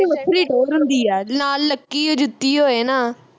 ਉਹਦੀ ਵੱਖਰੀ ਟੌਰ ਹੁੰਦੀ ਆ ਨਾਲ ਲੱਕੀ ਓ ਜੁੱਤੀ ਹੋਵੇ ਨਾ